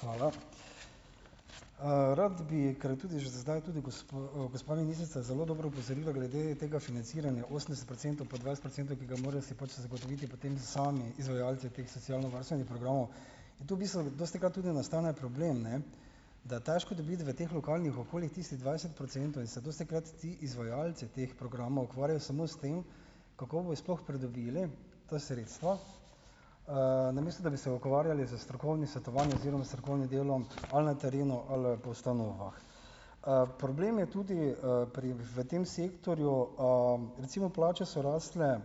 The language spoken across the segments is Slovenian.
hvala . rad bi, kar tudi že zdaj tudi gospa ministrica zelo dobro opozorila glede tega financiranja osemdeset procentov pa dvajset procentov, ki si ga morajo zagotoviti potem sami izvajalci teh socialnovarstvenih programov. Tu bistveno dostikrat tudi nastane problem, ne, da je težko dobiti v teh lokalnih okoljih tistih dvajset procentov in se dostikrat zdi, izvajalci teh programov ukvarjajo samo s tem, kako bojo sploh pridobili to sredstvo, namesto da bi se ukvarjali s strokovnim svetovanjem oziroma strokovnim delom ali na terenu ali, po ustanovah. problem je tudi, pri, v tem sektorju, recimo plače so rasle,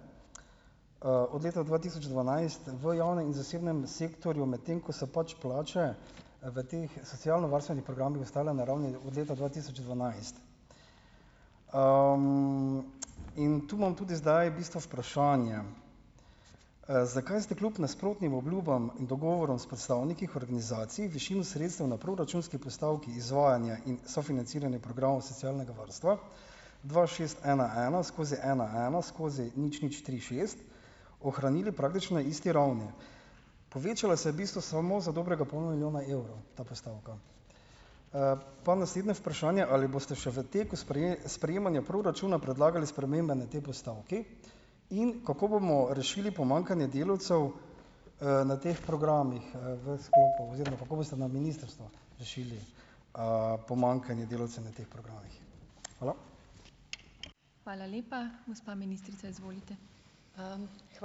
od leta dva tisoč dvanajst v javnem in zasebnem sektorju, medtem ko so pač plače, v teh socialnovarstvenih programih ostale na ravni od leta dva tisoč dvanajst. in tu imam tudi zdaj bistvu vprašanje, zakaj ste kljub nasprotnim obljubam in dogovorom s predstavniki h organizaciji višino sredstev na proračunski postavki izvajanja in sofinanciranja programov socialnega varstva, dva, šest, ena, ena skozi ena, ena skozi nič, nič, tri, šest, ohranili praktično isti ravni? Povečala se je v bistvu samo za dobrega pol milijona evrov ta postavka. pa naslednje vprašanje, ali boste še v teku sprejemanja proračuna predlagali spremembe na tej postavki? In kako bomo rešili pomankanje delavcev, na teh programih, v sklopu oziroma kako boste na ministrstvu rešili, pomanjkanje delavcev na teh programih? Hvala. Hvala lepa. Gospa ministrica, izvolite. ...